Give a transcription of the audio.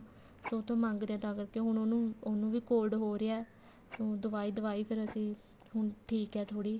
ਤੁਹਾਡੇ ਤੋਂ ਮੰਗਦੇ ਹਾਂ ਤਾਂ ਕਰਕੇ ਹੁਣ ਉਹਨੂੰ ਉਹਨੂੰ ਵੀ cold ਹੋ ਰਿਹਾ ਦਵਾਈ ਦਵਾਈ ਫ਼ੇਰ ਅਸੀਂ ਹੁਣ ਠੀਕ ਹੈ ਥੋੜੀ